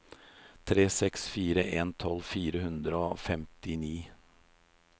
tre seks fire en tolv fire hundre og femtini